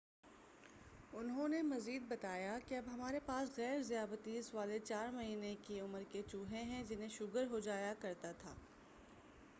انہوں نے مزید بتایا کہ اب ہمارے پاس غیر ذیابیس والے 4 مہینے کی عمر کے چوہے ہیں جنہیں شوگر ہوجایا کرتا تھا